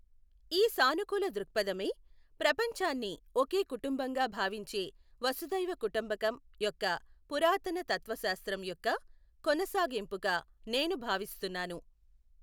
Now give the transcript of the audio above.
ఈ సానుకూల దృక్ఫధమే, ప్రపంచాన్ని ఒకే కుటుంబంగా భావించే వసుధైవ కుటుంబకం యొక్క పురాతన తత్వశాస్త్రం యొక్క కొనసాగింపుగా నేను భావిస్తున్నాను.